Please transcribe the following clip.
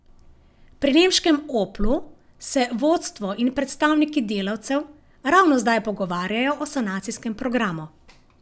Pri nemškem Oplu se vodstvo in predstavniki delavcev ravno zdaj pogovarjajo o sanacijskem programu.